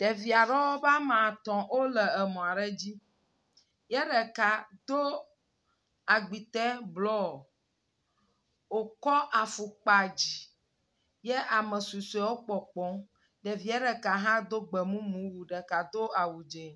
Ɖevia ɖewo be woame atɔ wole emɔ aɖe dzi. Ye ɖeka do agbitɛ blɔ. Wokɔ afukpa dzi ye ame susɔewo kpɔkpɔ. Ɖevia ɖeka hã do gbemumu wu ɖeka do awu dze.